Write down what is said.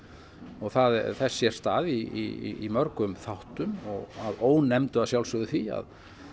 og þess sést stað í mörgum þáttum að ónefndu að sjálfsögðu því að